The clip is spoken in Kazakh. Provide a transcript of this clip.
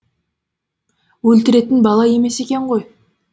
өлтіретін бала емес екен ғой